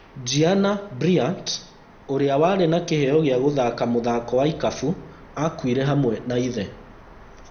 Gianna Bryant: ũrĩa warĩ na kĩheo gĩa gũthaka mũthako wa ikabu akuire hamwe na ithe